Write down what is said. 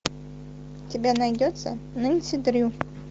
у тебя найдется нэнси дрю